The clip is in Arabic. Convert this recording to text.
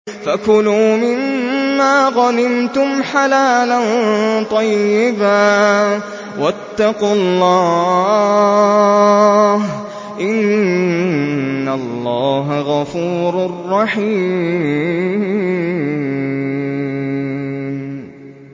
فَكُلُوا مِمَّا غَنِمْتُمْ حَلَالًا طَيِّبًا ۚ وَاتَّقُوا اللَّهَ ۚ إِنَّ اللَّهَ غَفُورٌ رَّحِيمٌ